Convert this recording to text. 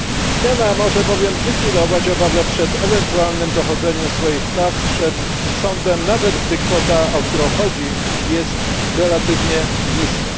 Zmiana może bowiem zlikwidować obawę przed ewentualnym dochodzeniem swoich praw przed sądem, nawet gdy kwota, o którą chodzi, jest relatywnie niska.